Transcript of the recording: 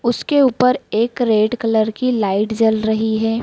उसके ऊपर एक रेड कलर की लाइट जल रही है।